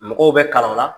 Mɔgɔw bɛ kalan o la